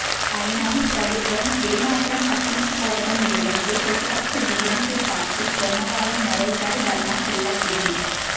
అయినా ప్రభుత్వం ఏ మాత్రం పట్టించుకోవడం లేదంటూ ప్రతిపక్ష డీఎంకే పార్టీ సోమవారం మరోసారి ధర్నా చేపట్టింది